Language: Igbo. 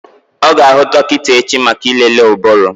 Ọ ga-aga hụ dọkịta echi maka ịlele ụbụrụ.